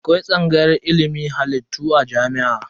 Akwai tsangayar ilimin halittu a jami'o'i.